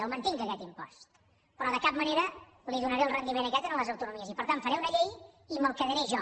el mantinc aquest impost però de cap manera li donaré el rendiment aquest a les autonomies i per tant faré una llei i me’l quedaré jo